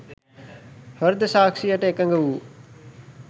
හෘද සාක්ෂියට එකඟ වූ